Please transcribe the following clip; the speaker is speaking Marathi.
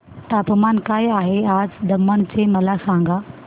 तापमान काय आहे आज दमण चे मला सांगा